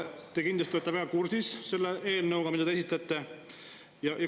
Te kindlasti olete väga kursis selle eelnõuga, mida te esitate.